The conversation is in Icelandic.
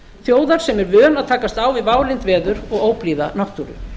þjóðar sem er vön að takast á við válynd veður og óblíða náttúru